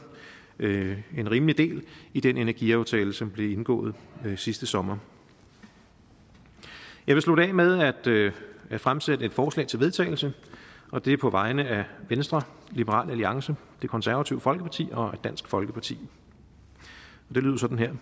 en rimelig del i den energiaftale som blev indgået sidste sommer jeg vil slutte af med at fremsætte et forslag til vedtagelse det er på vegne af venstre liberal alliance det konservative folkeparti og dansk folkeparti det lyder sådan her